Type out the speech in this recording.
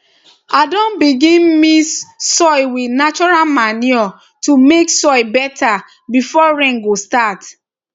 i don begin mix soil with natural manure natural manure to make soil better before rain go start